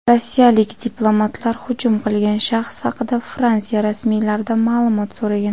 rossiyalik diplomatlar hujum qilgan shaxs haqida Fransiya rasmiylaridan ma’lumot so‘ragan.